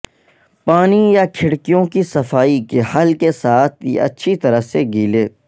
پانی یا کھڑکیوں کی صفائی کے حل کے ساتھ یہ اچھی طرح سے گیلے